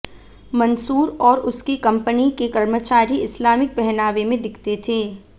मंसूर और उसकी कंपनी के कर्मचारी इस्लामिक पहनावे में दिखते थे